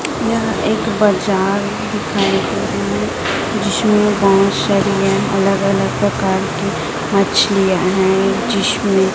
यह एक बाजार दिखाई दे रही जिसमें बहुत सारी अलग अलग प्रकार की मछलियां है जिसमें--